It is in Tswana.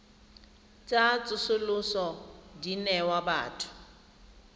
tsa tsosoloso di newa batho